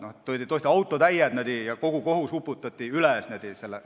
Neid toodi tõesti autotäied ja kohus uputati nendega üle.